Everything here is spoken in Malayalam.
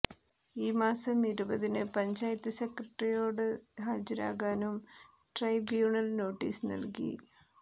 ഈ മാസം ഇരുപതിന് പഞ്ചായത്ത് സെക്രട്ടറിയോട് ഹാജരാകാനും െട്രെബ്യൂണൽ നോട്ടീസ് നൽകി